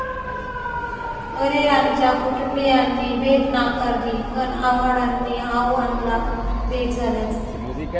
परेरांच्या कुटुंबियांनी भेट नाकारली, पण आव्हाडांनी आव आणला भेट झाल्याचा!